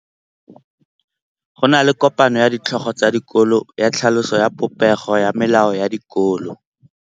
Go na le kopanô ya ditlhogo tsa dikolo ya tlhaloso ya popêgô ya melao ya dikolo.